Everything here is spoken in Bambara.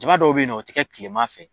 Jaba dɔw be ye nɔ o ti kɛ kilema fɛ